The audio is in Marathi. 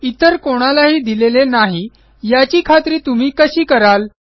इतर कोणालाही दिलेले नाही याची खात्री तुम्ही कशी कराल